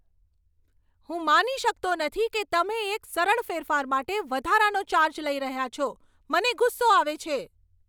હું માની શકતો નથી કે તમે એક સરળ ફેરફાર માટે વધારાનો ચાર્જ લઈ રહ્યા છો. મને ગુસ્સો આવે છે.